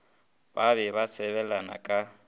ba be ba sebelana ka